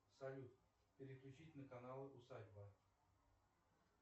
салют переключить на канал усадьба